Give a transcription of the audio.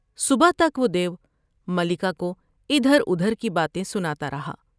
صبح تک وہ د یو ملکہ کو ادھر ادھر کی باتیں سناتا رہا ۔